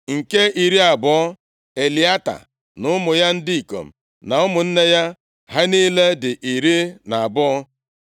Nke iri abụọ, Eliata na ụmụ ya ndị ikom na ụmụnne ya. Ha niile dị iri na abụọ (12).